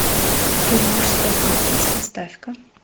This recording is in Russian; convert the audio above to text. фильм мужской стриптиз поставь ка